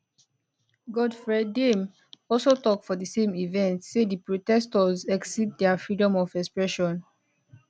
godfred dame also tok for di same event say di protestors exceed dia freedom of expression